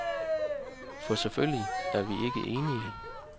For selvfølgelig er vi ikke enige.